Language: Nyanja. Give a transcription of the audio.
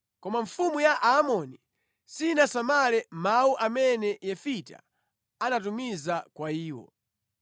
Koma mfumu ya Aamori, sinasamale mawu amene Yefita anatumiza kwa iyo.